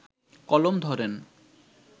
কলম ধরেন